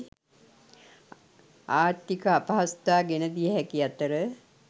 ආර්ථික අපහසුතා ගෙන දිය හැකි අතර